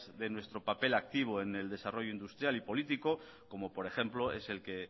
de nuestro papel activo en el desarrollo industrial y político como por ejemplo es el que